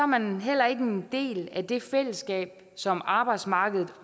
man heller ikke en del af det fællesskab som arbejdsmarkedet